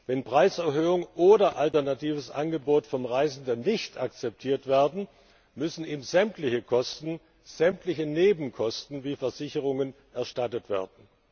Wenn Preiserhöhung oder alternatives Angebot vom Reisenden nicht akzeptiert werden, müssen ihm sämtliche Kosten, sämtliche Nebenkosten wie Versicherungen erstattet werden.